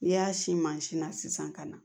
N'i y'a si mansin na sisan ka na